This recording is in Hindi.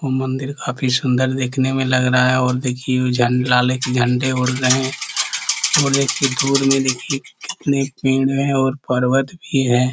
ओ मंदिर काफ़ी देखने में सुंदर लग रहा है और देखिए वो लाल एक झन झंडे उड़ रहे है और एक दूर में देखिए और पर्वत भी है ।